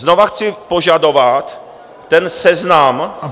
Znova chci požadovat ten seznam...